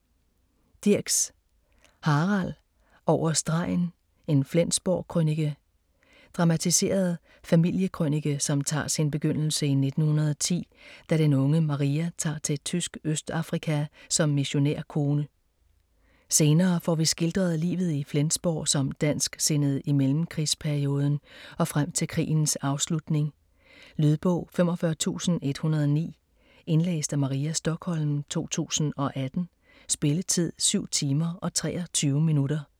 Dirks, Harald: Over stregen - en Flensborg-krønike Dramatiseret familiekrønike som tager sin begyndelse i 1910, da den unge Maria tager til tysk Østafrika som missionærkone. Senere får vi skildret livet i Flensborg som dansksindet i mellemkrigsperioden og frem til krigens afslutning. Lydbog 45109 Indlæst af Maria Stokholm, 2018. Spilletid: 7 timer, 23 minutter.